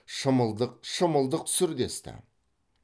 шымылдық шымылдық түсір десті